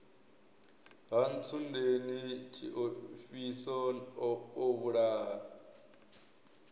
ha ntsundeni tshiofhiso o vhulaha